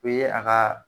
O ye a ka